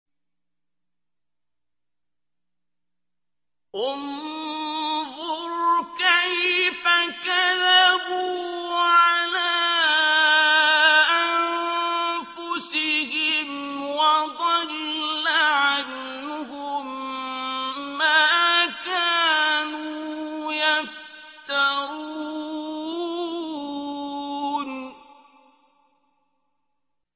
انظُرْ كَيْفَ كَذَبُوا عَلَىٰ أَنفُسِهِمْ ۚ وَضَلَّ عَنْهُم مَّا كَانُوا يَفْتَرُونَ